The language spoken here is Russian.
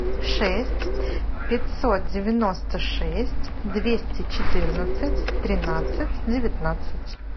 шесть пятьсот девяносто шесть двести четырнадцать тринадцать девятнадцать